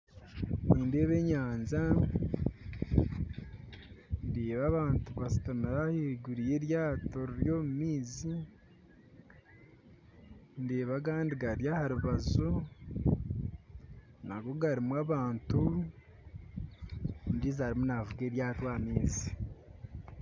Nindeeba enyanja ndeeba abantu bashutamire ahaiguru yeryato riri omumaizi ndeeba agandi gari aharubaju nago garumu abantu , ondijo arumu navuga eryato aha maizi .